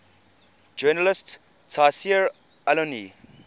journalist tayseer allouni